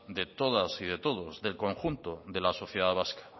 de todas y de todos del conjunto de la sociedad vasca